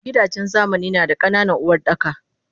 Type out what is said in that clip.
Gidajen zamani nada ka nanan Uwardaka